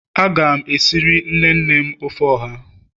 Aga m esiri nne nne m ofe oha.